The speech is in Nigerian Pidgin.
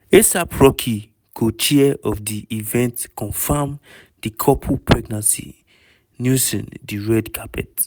a$ap rocky co-chair of di event confam di couple pregnancy newson di red carpet.